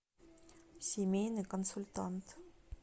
семейный консультант